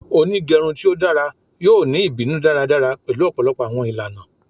Onigerun ti o dara yoo ni ibinu daradara pẹlu ọpọlọpọ awọn ilana